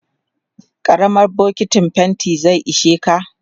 karamar bokintin fainti zai isheka